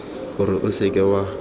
gore o se ka wa